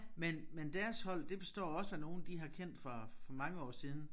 Men men deres hold det består også af nogen de har kendt fra for mange år siden